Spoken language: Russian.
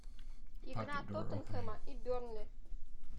игра тоттенхэма и бернли